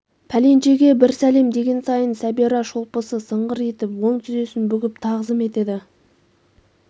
пәленшеге бір сәлем деген сайын сәбира шолпысы сыңғыр етіп оң тізесін бүгіп тағзым етеді